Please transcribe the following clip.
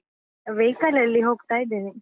Vehicle ಲಲ್ಲಿ ಹೋಗ್ತಾ ಇದೇನೆ.